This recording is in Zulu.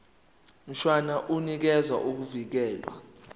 mshwana unikeza ukuvikelwa